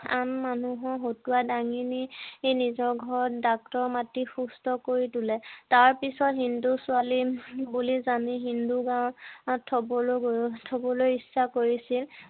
আন মানুহক হতুৱাই দাঙি নি সি নিজৰ ঘৰত ডাক্তৰ মাতি সুস্থ কৰি তুলে তাৰ পিছত হিন্দু ছোৱালী বুলি জানি হিন্দু গাঁৱত থবলৈ ইচ্ছা কৰিছিল